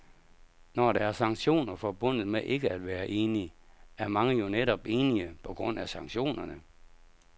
Når der er sanktioner forbundet med ikke at være enig, er mange jo netop enige, på grund af sanktionerne.